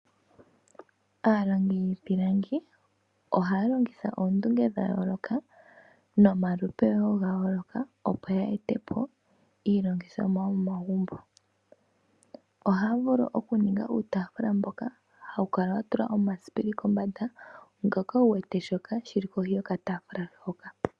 Aalongi yiipilangi ohaya longitha oondunge dhayooloka nomalupe woo gayooloka opo ya ete po iilongithomwa yomomagumbo. Ohaya vulu okuninga uutafula mboka hawu kala watulwa omasipili kombanda , ngoka wuwete shoka shili kohi yokataafula hoka .